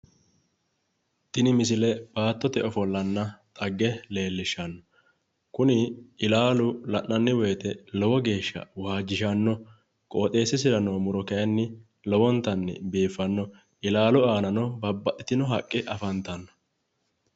Tini misile baattote ofollonna dhagge leellishshanno. Kuni ilaalu la'nanni woyite lowo geeshsha waajjishanno. Qooxeessisira noo muro kayinni lowontanni biiffanno. Ilaalu aanano babbaxxitino haqqe afantanno.